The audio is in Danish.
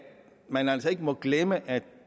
man altså ikke må glemme at